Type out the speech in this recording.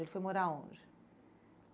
Ele foi morar onde?